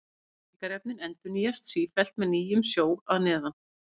Næringarefnin endurnýjast sífellt með nýjum sjó að neðan.